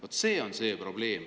Vot see on probleem.